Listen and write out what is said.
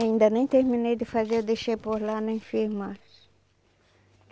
Ainda nem terminei de fazer, eu deixei por lá na enfermagem.